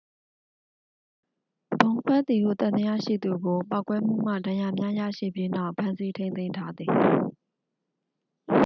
ဗုံးခွဲသည်ဟု သံသယရှိသူကို ပေါက်ကွဲမှုမှ ဒဏ်ရာများရရှိပြီးနောက် ဖမ်းဆီးထိန်းသိမ်းထားသည်